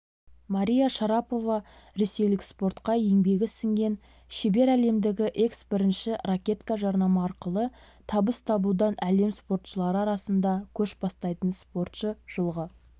мария шарапова ресейлік спортқа еңбегі сіңген шебер әлемдегі экс-бірінші ракетка жарнама арқылы табыс табудан әлем спортшылары арасында көш бастайтын спортшы жылғы